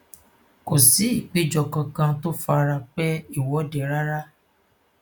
kò sí ìpéjọ kankan tó fara pẹ ìwọde rárá